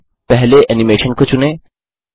अब पहले एनिमेशन को चुनें